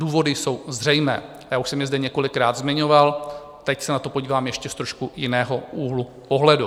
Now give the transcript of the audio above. Důvody jsou zřejmé, já už jsem je zde několikrát zmiňoval, teď se na to podívám ještě z trošku jiného úhlu pohledu.